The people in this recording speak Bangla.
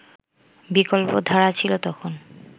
বিকল্পধারা ছিল তখন